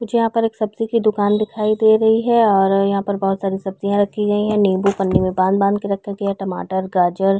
मुझे यहाँ पर एक सब्जी की दुकान दिखाई दे रही है और यहाँ पर बहुत सारी सब्जियाँ रखी गयी है निम्बू पन्नी में बांध- बांध के रखा गया है टमाटर गाजर --